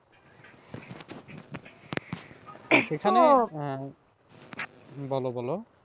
সেখানে আহ বলো বলো?